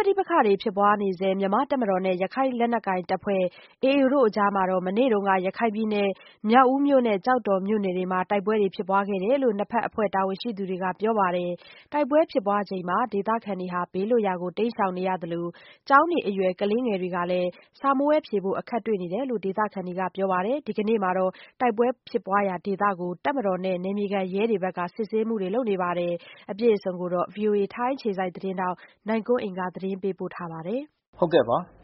ပဋိပက္ခတွေဖြစ်ပွါးနေဆဲ မြန်မာ့တပ်မတော်နဲ့ ရခိုင်လက်နက်ကိုင်အဖွဲ့AAတို့အကြား မနေ့က မြောက်ဦးမြို့နဲ့ ကျောက်တော်မြို့နယ်တွေမှာတိုက်ပွဲဖြစ်ပွါးခဲ့တယ်လို့ နှစ်ဖက်အဖွဲ့တာဝန်ရှိသူတွေကပြောပါတယ်။ တိုက်ပွဲဖြစ်ပွါးစဉ် ဒေသခံတွေဘေးလွတ်ရာကိုတိမ်းရှောင်နေရသလို ကျောင်းနေအရွယ်ကလေးတွေ စာမေးပွဲဖြေဆိုဖို့အခက်တွေ့ နေ တယ်လို့ဒေသခံတွေကပြောပါတယ်။ ဒီကနေ့မှာ တိုက်ပွဲဖြစ်ပွါးရာဒေသကို တပ်မတော်နဲ့နယ်မြေခံရဲတွေကနေ စစ် ဆေးမှုတွေလုပ်ဆောင်နေတဲ့အခြေအနေမှာရှိနေပါတယ်။ ဗွီအိုအေထိုင်းအခြေစိုက်သတင်းထောက်နိုင်ကွန်းအိန် ကနေသတင်းပေးပို့ထားပါတယ်။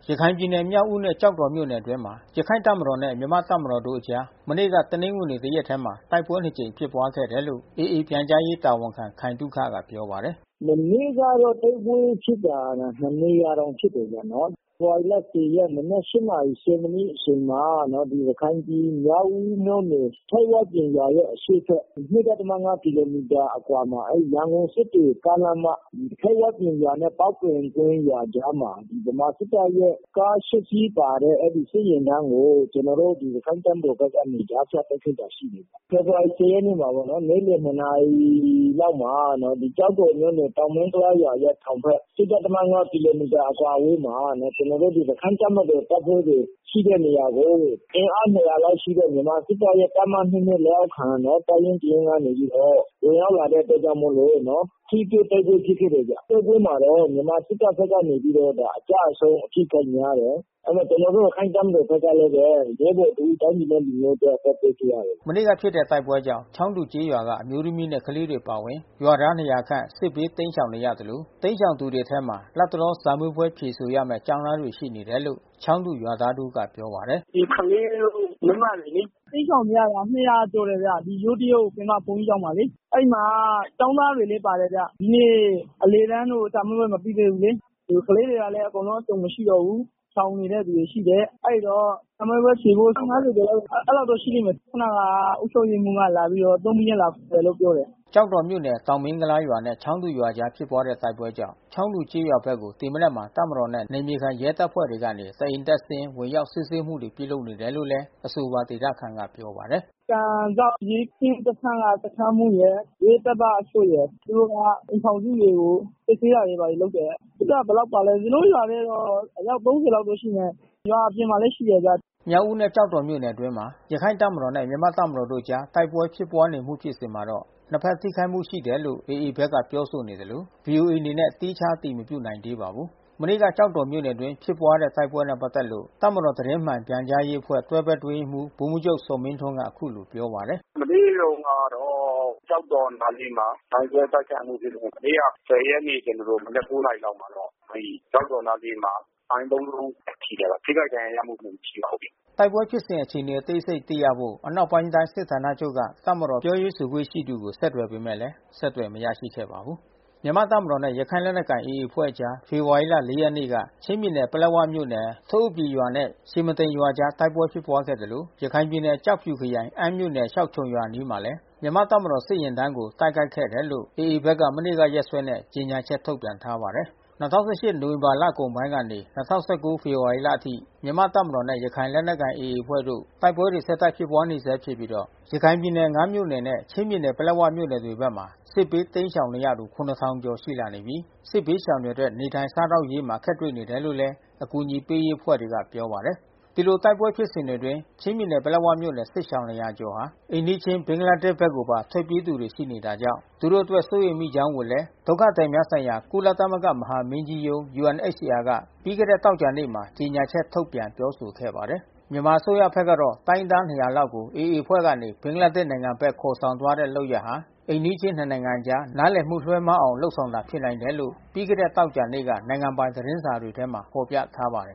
ရခိုင်ပြည်နယ် မြောက်ဦးနဲ့ကျောက်တော်မြို့နယ်အတွင်းမှာ ရခိုင့်တပ်မတော်နဲ့မြန်မာ့တပ်မတော်တို့အကြား မနေ့ကတနင်္ဂနွေတရက်ထဲမှာ တိုက်ပွဲနှစ်ကြိမ်ဖြစ်ပွါးခဲ့တယ်လို့AAပြန်ကြားရေးတာဝန်ခံခိုင်သုခကပြောပါတယ်။ “မနေ့ကတော့တိုက်ပွဲဖြစ်တာ နှစ်နေရာတောင်ဖြစ်တယ်ဗျာ။ ဖေဖေါ်ဝါရီ ရက် မနက် နာရီ မိနစ်အချိန်မှာ ရခိုင်ပြည်မြောက်ဦးမြို့နယ်ထိပ်ဝပြင်ရွာရဲ့အရှေ့ဖက် ကီလိုမီတာအကွာမှာ အဲဒီမှာ ရန်ကုန်-စစ်တွေကားလမ်း မ “ထိပ်ဝပြင်”နဲ့ပေါက်ပင်ကွင်းရွာ”အကြားမှာ ဗမာစစ်တပ်ရဲ့ ကား စီးပါတဲ့ အဲဒီစစ်ယာဉ်တန်းကို ကျွန်တော်တို့ ရခိုင့်တပ်မတော်ကနေကြားဖြတ်တိုက်ခိုက်တာရှိတယ်။ ဖေဖေါ်ဝါရီ ရက်နေ့မှာဘဲ နေ့လယ် နာရီလောက်မှာ ကျောက်တော်မြို့နယ် တောင်မင်းကုလားရွာရဲ့တောင်ဖက် ကီလိုမီတာအကွာအဝေးမှာ ကျွန်တော်တို့ ရခိုင့်တပ်မတော်တပ်ဖွဲ့တွေရှိတဲ့ နေရာကို အင်အား လောက်ရှိတဲ့ မြန်မာစစ်တပ်ရဲ့တပ်မ လက်အောက်ခံ တပ်ရင်းတရင်းကနေပြီးတော့ ဝင်ရောက်လာတဲ့အတွက်ကြောင့်မို့လို့ထိတွေ့တိုက်ပွဲဖြစ်ခဲ့တယ်ဗျ။ တိုက်ပွဲမှာတော့ မြန်မာစစ်တပ်ကနေပြီးတော့ အကျဆုံးအထိခိုက်များတယ်။ ကျွန်တော်တို့ရခိုင့်တပ်မတော်ဖက်ကလဲဘဲ ရဲဘော်တဦး တိုင်းပြာ်နဲ့လူမျိုးအတွက် အသက်ပေးခဲ့ရတယ်။” မနေ့ကဖြစ်တဲ့တိုက်ပွဲကြောင့်ချောင်းတူကျေးရွာက အမျိုးသမီးနဲ့ကလေးတွေအပါဝင်ရွာသား ခန့်စစ်ဘေး တိမ်းရှောင်နေရသလို တိမ်းရှောင်သူတွေအထဲမှာ လတ်တလောစာမေးပွဲဖြေဆိုရမဲ့ကျောင်းသားတွေရှိနေတယ်လို့ ချောင်းတူရွာသားတဦးကပြောပါတယ်။ “ဒီကလေးတို့ မိန်းမတွေလေ။ တိမ်းရှောင်ရတာ ကျော်တယ်ဗျ။ ဒီယိုးသယုတ်ပင်မဘုန်းကြီးကျောင်းမှာလေ။ အဲဒီမှာကျောင်းသားတွေလဲပါတယ်ဗျ။ ဒီနေ့အလယ်တန်းတို့စာမေးပွဲမပြီးသေးဘူးလေ။ ကလေးတွေလဲ အစုံမရှိ တော့ဘူး။ ရှောင်နေတဲ့သူတွေရှိတယ်။ အဲဒီတော့ စာမေးပွဲဖြေဖို့ ကျော်လောက် အဲဒီလောက်တော့ရှိလိမ့်မယ်။ ခုနကအုပ်ချုပ်ရေးမှူးကလာပြီးတော့ သုံးဘီးနဲ့လာခေါ်လို့ပြောတယ်။” ကျောက်တော်မြို့နယ်တောင်မင်းကုလားရွာနဲ့ချောင်းတူရွာအကြားဖြစ်ပွါးတဲ့တိုက်ပွဲကြောင့် ချောင်းတူကျေးရွာ ဘက်ကို ဒီမနက်မှာ တပ်မတော်နဲ့နယ်မြေခံရဲတပ်ဖွဲ့တွေကနေ တအိမ်တက်ဆင်း ဝင်ရောက်စစ်ဆေးမှုတွေပြုလုပ် နေတယ်လို့လဲအဆိုပါဒေသခံကပြောပါတယ်။ “ကန်စောက်ရဲကင်းစခန်းကစခန်းမှူးရယ် ရဲတပ်သားတချို့ရယ် သူတို့ကအိမ်ထောင်စုတွေကို စစ်ဆေးတာတွေ ဘာတွေလုပ်တယ်။ စစ်တပ်ကဘယ်လောက်ပါလဲတော့ ကျွန်တော်တို့ရွာထဲတော့အယောက် လောက်တော့ ရှိမယ်။ ရွာအပြင်မှာလဲရှိတယ်ဗျ။” မြောက်ဦးနဲ့ကျောက်တော်မြို့နယ်အတွင်းမှာ ရခိုင့်တပ်မတော်နဲ့မြန်မာ့တပ်မတော်တို့အကြား တိုက်ပွဲဖြစ်ပွါးမှု ဖြစ်စဉ်မှာ နှစ်ဖက်ထိခိုက်မှုရှိတယ်လို့AAဘက်ကပြောဆိုနေသလို ဗွီအိုအေအနေနဲ့သီးခြားအတည် မပြုနိုင်သေး ပါဘူး။ မနေ့က ကျောက်တော်မြို့နယ်အတွင်းတိုက်ပွဲဖြစ်ပွါးမှုနဲ့ပက်သက်လို့ တပ်မတော်သတင်းမှန်ပြန်ကြားရေးအဖွဲ့ တွဲဘက်အတွင်းရေးမှူး ဗိုလ်မှူးချုပ်ဇော်မင်းထွန်းကအခုလိုပြောပါတယ်။ “မနေ့တုန်းကတော့ ကျောက်တော်နားလေးမှာ မိုင်းခွဲအတိုက်ခံမှုဖြစ်တယ်။ မနေ့က ရက်နေ့ကျွန်တော်တို့ မနက် နာရီလောက်မှာတော့ အဲဒီကျောက်တော်နားလေးမှာ မိုင်း လုံးထိတယ်ပေါ့။ ထိခိုက်ဒဏ်ရာရမှု တော့ မရှိပါဘူး။” တိုက်ပွဲဖြစ်စဉ်အခြေအနေအသေးစိတ်သိရဖို့ အနောက်ပိုင်းတိုင်းစစ်ဌာနချုပ်က တပ်မတော်ပြောရေးဆိုခွင့် ရှိသူ ကိုဆက်သွယ်ပေမဲ့ အဆက်သွယ်မရခဲ့ပါဘူး။ မြန်မာ့တပ်မတော်နဲ့ ရခိုင်လက်နက်ကိုင်AAအဖွဲ့အကြား ဖေဖော်ဝါရီလ ရက်နေ့က ချင်းပြည်နယ် ပလက်ဝ မြို့နယ်၊”ထအို့ပီရွာ” နဲ့“ရှင်မဒိန် ရွာ”အကြား တိုက်ပွဲဖြစ်ပွားခဲ့သလို ရခိုင်ပြည်နယ် ကျောက်ဖြူခရိုင်၊ အမ်းမြို့ နယ် ရှောက်ခြုံရွာ”အနီးမှာလဲ မြန်မာ့တပ်မတော်စစ်ယာဉ်တန်းကိုတိုက်ခိုက်ခဲ့တယ်လို့ AAဘက်က မနေ့က ရက်စွဲနဲ့ကြေညာချက်ထုတ်ပြန်ထားပါတယ်။ ၂၀၁၈နိုဝင်ဘာလကုန်ပိုင်းကနေ ၂၀၁၉ ဖေဖေါ်ဝါရီလအထိ မြန်မာ့တပ်မတော်နဲ့ ရခိုင်လက်နက်ကိုင်AAအဖွဲ့ တိုက်ပွဲ တွေဆက်တိုက်ဖြစ်ပွါးနေဆဲဖြစ်ပြီး ရခိုင်ပြည်နယ် မြို့နယ်နဲ့ ချင်းပြည်နယ်ပလက်ဝမြို့နယ်ဘက်တွေမှာ စစ်ဘေးတိမ်းရှောင်နေရသူ ကျော်ရှိလာနေပြီး စစ်ဘေးရှောင်တွေအတွက် နေထိုင်စားသောက်ရေးမှာ အခက်တွေ့နေတယ်လို့လဲ အကူညီပေးရေးအဖွဲ့တွေကပြောပါတယ်။ ဒီလိုတိုက်ပွဲဖြစ်စဉ်အတွင်း ချင်းပြည်နယ်ပလက်ဝမြို့နယ်ကစစ်ရှောင် ကျော်ဟာ အိမ်နီးချင်း ဘင်္ဂလားဒေ့ရှ် ဘက်ကိုပါ ထွက်ပြေးသူတွေ ရှိနေတာကြောင့် သူတို့အတွက်စိုးရိမ်မိကြောင်းကိုလဲ ဒုက္ခသည်များဆိုင်ရာ ကုလ သမဂ္ဂမဟာမင်းကြီးရုံးUNHCR က ပြီးခဲ့တဲ့သောကြာနေ့မှာ ကြေညာချက် ထုတ်ပြန်ပြောဆိုခဲ့ပါတယ်။ မြန်မာအစိုးရဖက်ကတော့ တိုင်းရင်းသား ၂၀၀ လောက်ကို AA အဖွဲ့ကနေ ဘင်္ဂလားဒေ့ရှ် နိုင်ငံဘက်ခေါ်ဆောင် သွားတဲ့လုပ်ရပ်ဟာ အိမ်နီးချင်းနှစ်နိုင်ငံအကြား နားလည်မှုလွဲမှားအောင် ဆောင်ရွက်တာ ဖြစ်နိုင်တယ်လို့ ပြီးခဲ့တဲ့ သောကြာနေ့က နိုင်ငံပိုင်သတင်းစာတွေမှာ ဖော်ပြထားပါတယ်